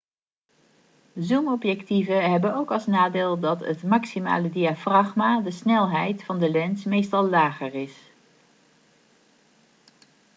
zoomobjectieven hebben ook als nadeel dat het maximale diafragma de snelheid van de lens meestal lager is